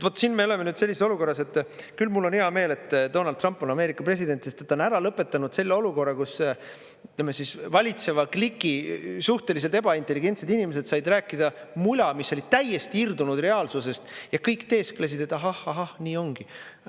" Vaat siin me oleme nüüd sellises olukorras, et küll mul on hea meel, et Donald Trump on Ameerika president, sest ta on ära lõpetanud selle olukorra, kus, ütleme, valitseva kliki suhteliselt ebaintelligentsed inimesed said rääkida mula, mis oli täiesti irdunud reaalsusest, ja kõik teesklesid, et ahah, nii ongi.